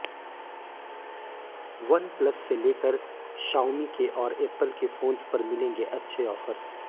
OnePlus से लेकर Xiaomi के और एप्पल के फोंस पर मिलेंगे अच्छे ओफर